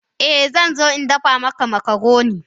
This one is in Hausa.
Eh zan zo in dafa maka makaroni.